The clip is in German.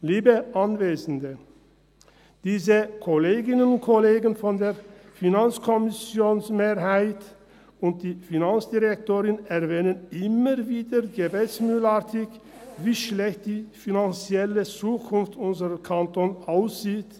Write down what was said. Liebe Anwesende, die Kolleginnen und Kollegen der FiKo-Mehrheit und die Finanzdirektorin erwähnen immer wieder gebetsmühlenartig, wie schlecht die finanzielle Zukunft unseres Kantons aussieht.